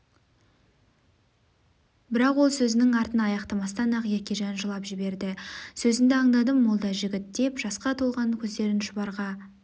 бірақ ол сөзінің артын аяқтамастан-ақ еркежан жылап жіберді сөзінді андадым молдажігіт деп жасқа толған көздерін шұбарға